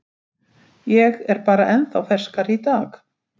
Ég er bara ennþá ferskari í dag.